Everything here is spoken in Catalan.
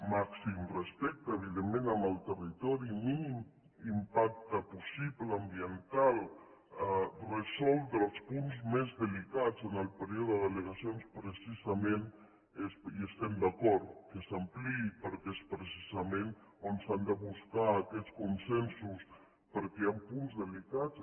màxim respecte evidentment amb el territori mínim impacte possible ambiental resoldre els punts més delicats en el període d’allegacions precisament hi estem d’acord que s’ampliï perquè és precisament on s’han de buscar aquests consensos perquè hi han punts delicats